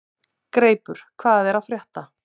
Greipur, hvað er að frétta?